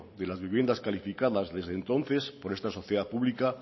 de las vivienda calificadas desde entonces por esta sociedad pública